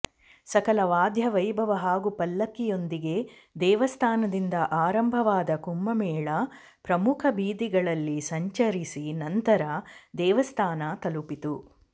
ಸಕಲ ವಾಧ್ಯವೈಭವ ಹಾಗೂ ಪಲ್ಲಕ್ಕಿಯೊಂದಿಗೆ ದೇವಸ್ಥಾನದಿಂದ ಆರಂಭವಾದ ಕುಂಭಮೇಳ ಪ್ರಮುಖ ಬೀದಿಗಳಲ್ಲಿ ಸಂಚರಿಸಿ ನಂತರ ದೇವಸ್ಥಾನ ತಲುಪಿತು